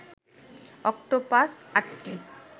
octopus আটটি